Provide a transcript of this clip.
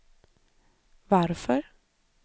varför